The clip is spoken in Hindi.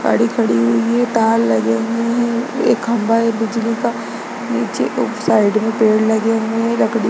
गाड़ी खड़ी हुई है तार लगे हुए है एक खंभा है बिजली का नीचे ओ साइड में पेड़ लगे हुए है लकड़ी --